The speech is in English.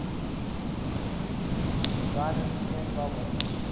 dystopian novels